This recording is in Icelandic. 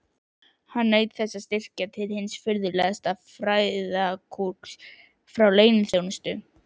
Naut hann styrkja til hins furðulegasta fræðagrúsks frá leyniþjónustu